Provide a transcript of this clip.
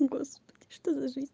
господи что за жизнь